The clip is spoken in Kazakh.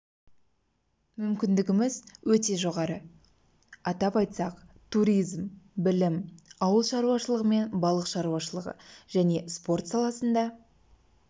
мүмкіндігіміз өте жоғары атап айтсақ туризм білім ауыл шаруашылығы мен балық шаруашылығы және спорт саласында